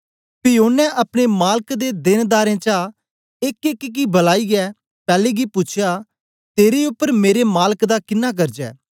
पी ओनें अपने मालक दे देनदारें चा एकएक गी बलाईयै पैले गी पूछया तेरे उपर मेरे मालक दा किन्ना कर्जा ऐ